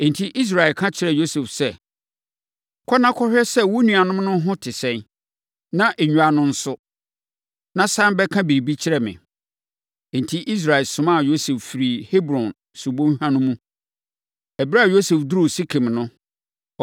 Enti, Israel ka kyerɛɛ Yosef sɛ, “Kɔ na kɔhwɛ sɛ wo nuanom ho te sɛn, na nnwan no nso, na sane bɛka biribi kyerɛ me.” Enti, Israel somaa Yosef firii Hebron subɔnhwa no mu. Ɛberɛ a Yosef duruu Sekem no,